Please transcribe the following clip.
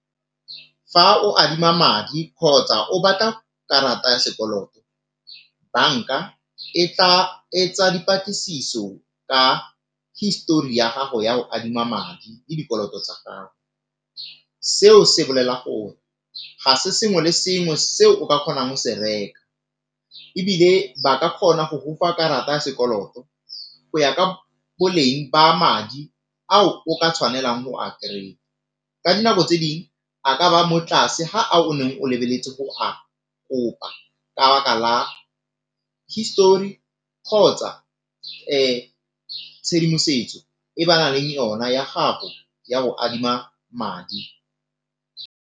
Fa o adima madi kgotsa o batla karata ya sekoloto, banka e tla etsa dipatlisiso ka histori ya gago ya go adima madi le dikoloto tsa gago. Seo se bolela gore ga se sengwe le sengwe se o ka kgonang go se reka, ebile ba ka kgona go gofa karata ya sekoloto go ya ka boleng ba madi ao o ka tshwanelang go a ka dinako tse ding a ka ba mo tlase ga ao o neng o lebeletse go a kopa ka baka la histori kgotsa tshedimosetso e ba naleng yona ya gago ya go adima madi.